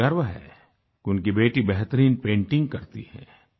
उन्हें गर्व है कि उनकी बेटी बेहतरीन पेंटिंग करती है